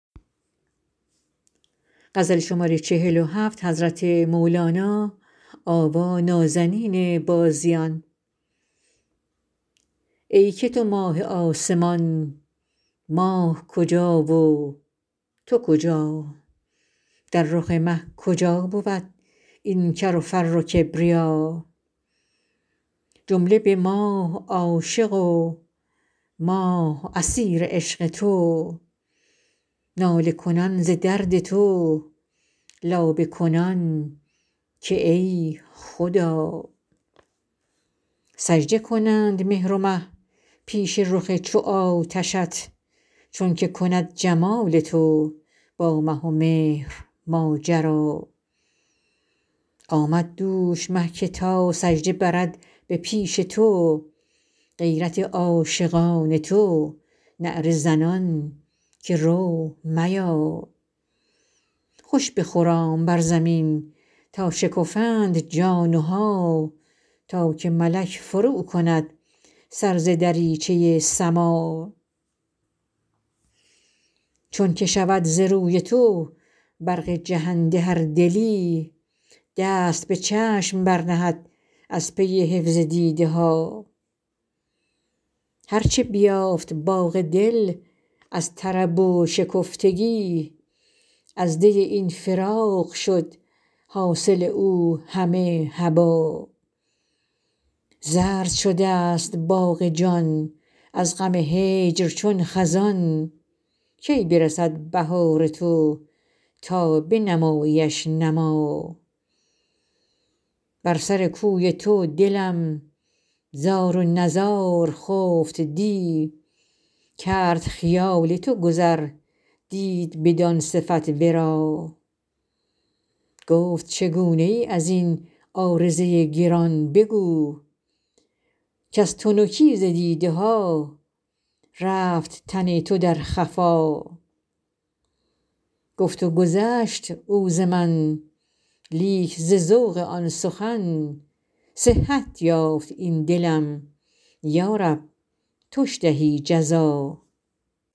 ای که تو ماه آسمان ماه کجا و تو کجا در رخ مه کجا بود این کر و فر و کبریا جمله به ماه عاشق و ماه اسیر عشق تو ناله کنان ز درد تو لابه کنان که ای خدا سجده کنند مهر و مه پیش رخ چو آتشت چونک کند جمال تو با مه و مهر ماجرا آمد دوش مه که تا سجده برد به پیش تو غیرت عاشقان تو نعره زنان که رو میا خوش بخرام بر زمین تا شکفند جان ها تا که ملک فروکند سر ز دریچه سما چون که شود ز روی تو برق جهنده هر دلی دست به چشم برنهد از پی حفظ دیده ها هر چه بیافت باغ دل از طرب و شکفتگی از دی این فراق شد حاصل او همه هبا زرد شده ست باغ جان از غم هجر چون خزان کی برسد بهار تو تا بنماییش نما بر سر کوی تو دلم زار و نزار خفت دی کرد خیال تو گذر دید بدان صفت ورا گفت چگونه ای از این عارضه گران بگو کز تنکی ز دیده ها رفت تن تو در خفا گفت و گذشت او ز من لیک ز ذوق آن سخن صحت یافت این دلم یا رب توش دهی جزا